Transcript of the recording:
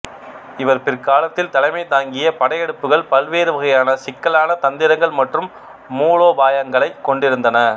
இவர் பிற்காலத்தில் தலைமை தாங்கிய படையெடுப்புகள் பல்வேறு வகையான சிக்கலான தந்திரங்கள் மற்றும் மூலோபாயங்களை கொண்டிருந்தன